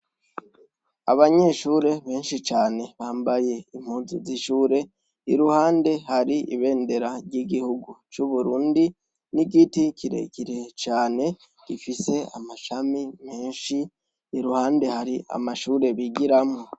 Abanyeshure benshi cane bambaye impuzu z'ishure, iruhande hari i bendera ry'igihugu c'Uburundi n'igiti kirekire cane gifise amashami menshi. Iruhande hari amashure bigiramwo.